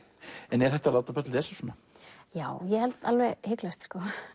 en er hægt að láta börn lesa svona já ég held alveg hiklaust